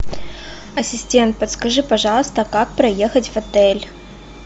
ассистент подскажи пожалуйста как проехать в отель